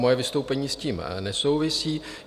Moje vystoupení s tím nesouvisí.